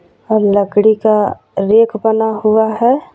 और लकड़ी का रैक बना हुआ है.